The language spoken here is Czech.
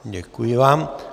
Děkuji vám.